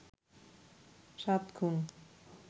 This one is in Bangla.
সাত খুন